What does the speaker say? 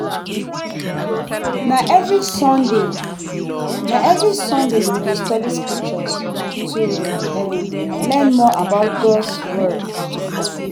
Na every Sunday, Na every Sunday, we dey study scriptures to um learn more about God’s word.